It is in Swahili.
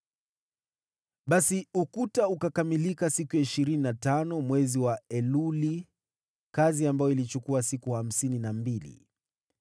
Basi ukuta ukakamilika siku ya ishirini na tano mwezi wa Eluli, kazi ambayo ilichukua siku hamsini na mbili.